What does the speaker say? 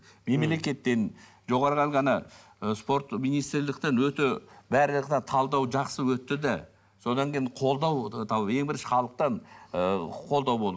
мемлекеттен жоғарғы ана ы спорт министрліктен өте талдау жақсы өтті де содан кейін қолдау ең бірінші халықтан ы қолдау бол